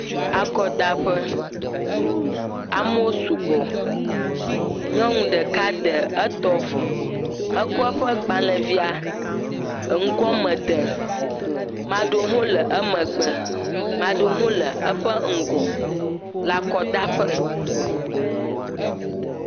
Akɔdaƒe, amo su gbɔ, nyɔnu ɖeka de etɔ vɔ, ekɔ eƒe gbalẽvia e ŋgoɔ me de, maɖewo hɣ le emegbe, maɖewo hɣ le eƒe ŋgɔ le akɔdaƒe.